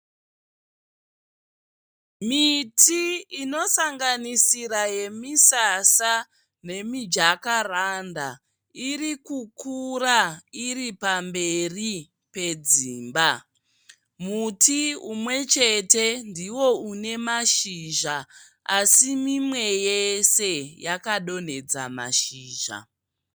Miti inosanganisira misasa nemi "jacaranda" irikukura iripamberi pedzimba. Muti umwe chete ndiyo inemashizha asimimwe yese yakadonedza mashizha.